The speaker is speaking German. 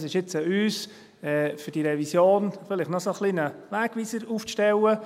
Es ist jetzt an uns, für diese Revision eine Art Wegweiser aufzustellen.